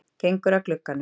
Gengur að glugganum.